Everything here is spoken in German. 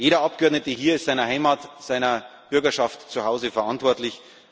Jeder Abgeordnete hier ist seiner Heimat, seiner Bürgerschaft zu Hause gegenüber verantwortlich.